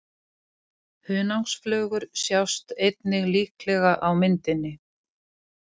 Hunangsflugur sjást einnig líklega á myndinni.